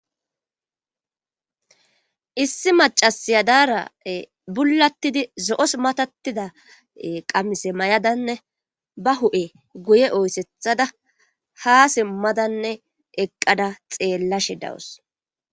issi macasiya daara bullattidi zo'os matatida qamise mayadanne ba hu'e guye oyssethada ha simmadanne eqqada xeellashe dawus